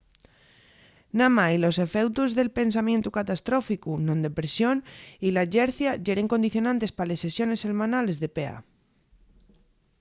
namái los efeutos del pensamientu catastróficu non depresión y la llercia yeren condicionantes pa les sesiones selmanales de pa